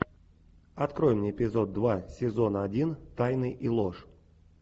открой мне эпизод два сезона один тайны и ложь